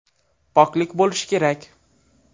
Poklik bo‘lishi kerak.